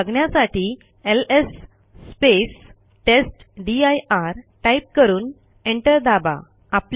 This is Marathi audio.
हे बघण्यासाठी एलएस टेस्टदीर टाईप करून एंटर दाबा